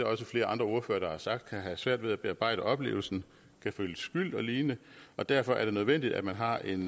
også flere ordførere der har sagt kan have svært ved at bearbejde oplevelsen kan føle skyld og lignende og derfor er det nødvendigt at man har en